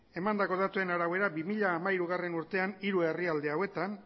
emandako datuen arabera bi mila hamairugarrena urtean hiru herrialde hauetan